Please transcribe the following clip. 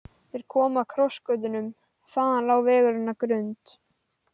Þeir komu að krossgötunum, þaðan lá vegurinn að Grund.